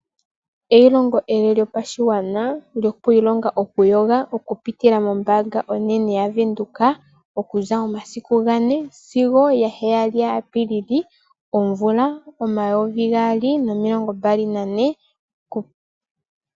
Eyilongo ele lyopashigwana lyoku ilonga oku yoga, okupitila mombaanga onene ya Venduka, okuza omasiku gane sigo ga heyali gaApilili omvula omayovi gaali nomilongo mbali nane.